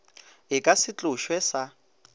e ka se tlošwe sa